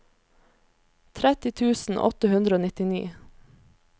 tretti tusen åtte hundre og nittini